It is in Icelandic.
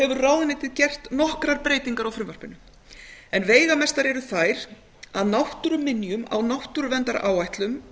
hefur ráðuneytið gert nokkrar breytingar á frumvarpinu veigamestar eru þær að náttúruminjum á náttúruverndaráætlun